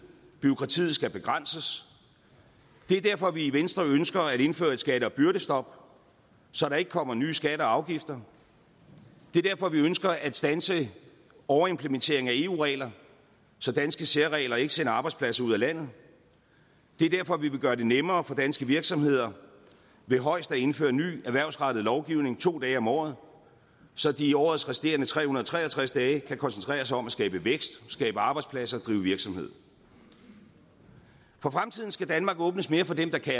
og bureaukratiet skal begrænses det er derfor at vi i venstre ønsker at indføre et skatte og byrdestop så der ikke kommer nye skatter og afgifter det er derfor at vi ønsker at standse overimplementeringen af eu regler så danske særregler ikke sender arbejdspladser ud af landet det er derfor at vi vil gøre det nemmere for danske virksomheder ved højst at indføre ny erhvervsrettet lovgivning to dage om året så de i årets resterende tre hundrede og tre og tres dage kan koncentrere sig om at skabe vækst skabe arbejdspladser og drive virksomhed for fremtiden skal danmarks åbnes mere for dem der kan